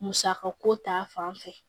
Musaka ko ta fanfɛ